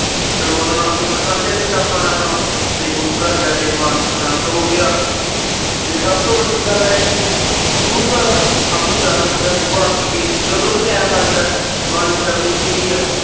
ਚਲੋ ਓਹਨਾ ਨਾਲ ਦੁੱਖ ਸਾਂਝਾ ਕੀਤਾ ਆਪਾ ਨੇ ਆਪਣਾ ਤੇ ਗੁਰੂ ਘਰ ਜਾ ਕੇ ਮਨ ਸ਼ਾਂਤ ਹੋਗਿਆ ਤੇ ਸਬ ਤੋ ਵੱਡੀ ਗੱਲ ਇਹ ਆ ਕੇ ਗੁਰੂ ਘਰ ਸਬ ਨੂੰ ਜਾਣਾ ਚਾਹੀਦਾ ਸੁਬਹ ਉੱਠ ਕੇ ਜਦੋ ਵੀ ਟਾਈਮ ਲਗਦਾ ਬਾਣੀ ਪੜ੍ਹਨੀ ਚਾਹੀਦੀ